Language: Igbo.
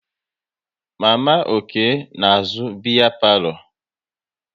Mama Okey na-azụ biya palo